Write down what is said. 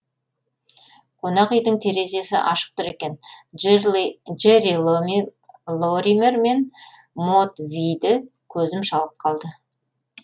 қонақ үйдің терезесі ашық тұр екен джерри лоример мен мод вийді көзім шалып қалды